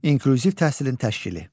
İnklüziv təhsilin təşkili.